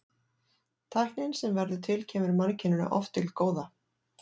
Tæknin sem verður til kemur mannkyninu oft til góða.